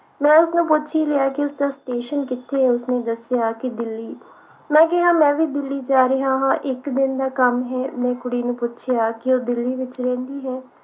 ਮੈਂ ਉਸਨੂੰ ਪੁੱਛ ਹੀ ਲਿਆ ਕਿ ਉਸਦਾ station ਕਿਥੇ ਹੈ ਤੇ ਉਸਨੇ ਦੱਸਿਆ ਕਿ ਦਿੱਲੀ ਮੈਂ ਕਿਹਾ ਕਿ ਮੈਂ ਵੀ ਦਿੱਲੀ ਜਾ ਰਹੀ ਆ ਹਾਂ ਇਕ ਦਿਨ ਦਾ ਕੰਮ ਹੈ ਮੈਂ ਕੁੜੀ ਨੂੰ ਪੁੱਛਿਆ ਕਿ ਉਹ ਦਿੱਲੀ ਵਿਚ ਰਹਿੰਦੀ ਹੈ